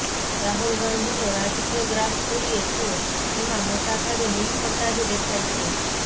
રાહુલ ગાંધીનો રાજકીય ગ્રાફ જોઇએ તો એમાં મોટા ભાગે નિષ્ફળતા જ દેખાય છે